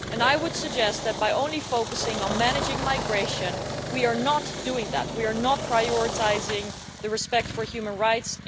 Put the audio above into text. I would suggest that by only focusing on managing migration we are not doing that, we are not prioritising respect for human rights.